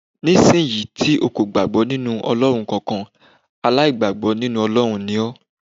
Nísìnyí tí o kò gbàgbọ́ nínú Ọlọ́run kankan, aláìgbọ̀gbọ́ nínú Ọlọ́run ni ọ́.